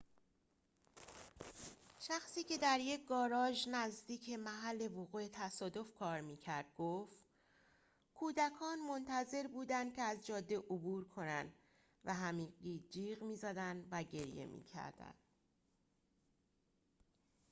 شخصی که در یک گاراژ نزدیک محل وقوع تصادف کار می‌کرد گفت کودکان منتظر بودند که از جاده عبور کنند و همگی جیغ می‌زدند و گریه می‌کردند